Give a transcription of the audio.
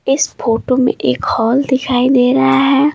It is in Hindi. इस फोटो में एक हॉल दिखाई दे रहा है।